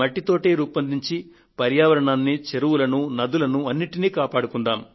మట్టి తోటే రూపొందించి పర్యావరణాన్ని చెరువులను నదులను అన్నింటినీ కాపాడుకుందాము